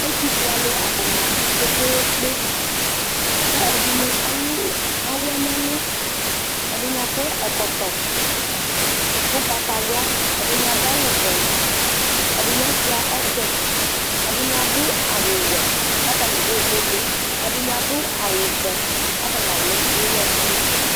Ɛtufue alʋ atani abʋ kpe kpe kpe kʋ ɛdini alʋ awɛ nʋ ɛlʋ ɛdini akɔ ɛkɔtɔ ʋgbatawla ɛdini adʋ awʋvɛ ɛdini asuia ɔtsɛ ɛdini adʋ awʋwɛ lʋ atani dʋ iilili ɛdini adʋ awʋvɛ kʋ atani alʋ iwʋɛ nʋ ɛlʋ